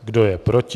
Kdo je proti?